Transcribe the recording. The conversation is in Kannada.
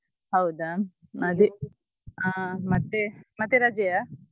ಹೌದಾ ಅದೇ ಹಾ ಮತ್ತೇ ಮತ್ತೆ ರಜೆಯಾ?